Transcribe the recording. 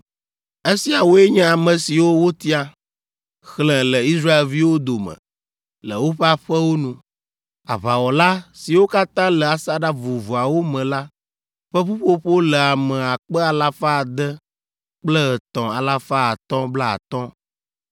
Esiawoe nye ame siwo wotia, xlẽ le Israelviwo dome le woƒe aƒewo nu. Aʋawɔla, siwo katã le asaɖa vovovoawo me la ƒe ƒuƒoƒo le ame akpe alafa ade kple etɔ̃ alafa atɔ̃ blaatɔ̃ (603,550).